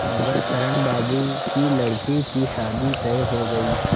गंगाशरण बाबू की लड़की की शादी तय हो गई